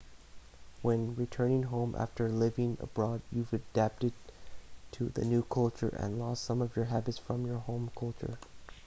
when returning home after living abroad you've adapted to the new culture and lost some of your habits from your home culture